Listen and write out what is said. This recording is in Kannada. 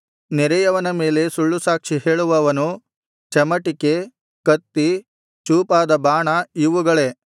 ನೆರೆಯವನ ಮೇಲೆ ಸುಳ್ಳುಸಾಕ್ಷಿಹೇಳುವವನು ಚಮಟಿಕೆ ಕತ್ತಿ ಚೂಪಾದ ಬಾಣ ಇವುಗಳೇ